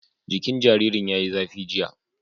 Jikin jaririn ya yi zafi, jiya